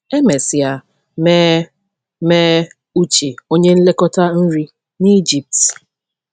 E mesịa mee mee Uche onye nlekọta nri n’Ijipt.